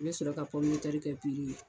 N bɛ sɔrɔ ka kɛ ye.